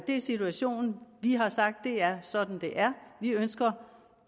er situationen vi har sagt at det er sådan det er vi ønsker